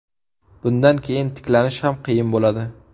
Bundan keyin tiklanish ham qiyin bo‘ladi.